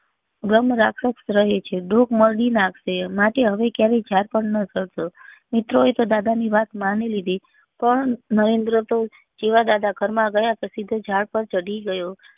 બ્રહ્મ રાક્ષસ રહે છે ડોક મરડી નાખશે માટે હવે ક્યારે ઝાડ પર નાં ચડશો મિત્રો એ તો દાદા ની વાત માની લીધી પણ નરેન્દ્ર તો જેવા દાદા ઘર માં ગયા પછી તો ઝાડ પર ચડી ગયો